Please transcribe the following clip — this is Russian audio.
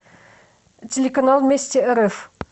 телеканал вместе рф